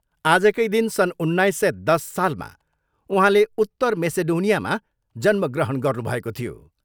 आजकै दिन सन् उन्नाइस सय दस सालमा उहाँले उत्तर मेसेडोनियामा जन्मग्रहण गर्नुभएको थियो।